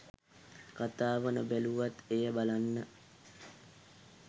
කතාව නොබැලුවත් එය බලන්න